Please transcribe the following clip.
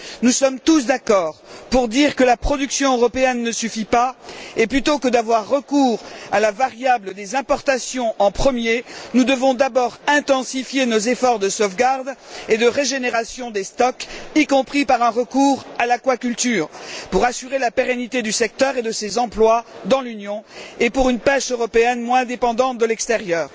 Nous sommes tous d'accord pour dire que la production européenne ne suffit pas et, plutôt que d'avoir recours à la variable des importations avant tout autre chose, nous devons d'abord intensifier nos efforts de sauvegarde et de régénération des stocks, y compris par un recours à l'aquaculture, pour assurer la pérennité du secteur et de ses emplois dans l'Union, ainsi qu'une pêche européenne moins dépendante de l'extérieur.